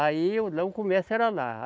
Aí o, lá o comércio era lá.